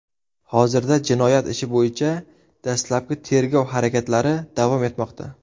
Hozirda jinoyat ishi bo‘yicha dastlabki tergov harakatlari davom etmoqda.